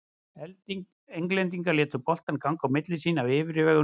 Englendingar létu boltann ganga á milli sín af yfirvegun og öryggi.